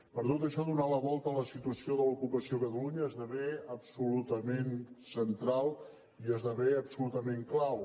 per tot això donar la volta a la situació de l’ocupació a catalunya esdevé absolutament central i esdevé absolutament clau